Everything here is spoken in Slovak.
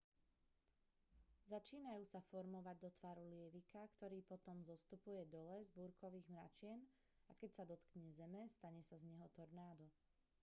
začínajú sa formovať do tvaru lievika ktorý potom zostupuje dole z búrkových mračien a keď sa dotkne zeme stane sa z neho tornádo